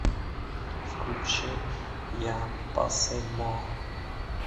включи я па сэй мо